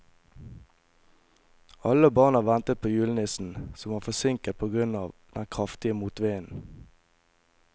Alle barna ventet på julenissen, som var forsinket på grunn av den kraftige motvinden.